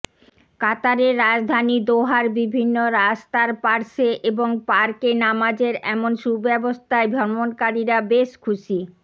কাতারের রাজধানী দোহার বিভিন্ন রাস্তার পার্শ্বে এবং পার্কে নামাজের এমন সুব্যবস্থায় ভ্রমণকারীরা বেশ খুশি